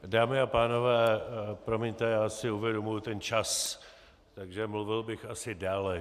Dámy a pánové, promiňte, já si uvědomuji ten čas, takže mluvil bych asi déle.